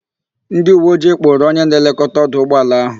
Ndịuweojii kpụrụ onye na-elekọta ọdụ ụgbọala ahụ.